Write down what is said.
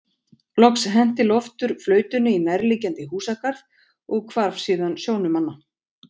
Loks henti Loftur flautunni í nærliggjandi húsagarð og hvarf síðan sjónum manna.